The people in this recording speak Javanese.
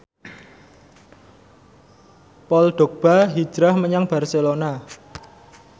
Paul Dogba hijrah menyang Barcelona